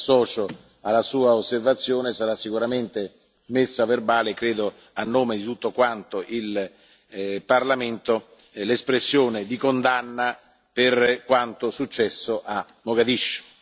Quindi mi associo alla sua osservazione sarà sicuramente messa a verbale credo a nome di tutto quanto il Parlamento l'espressione di condanna per quanto successo a Mogadiscio.